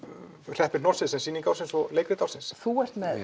hreppi hnossið sem sýning ársins og leikrit ársins þú ert með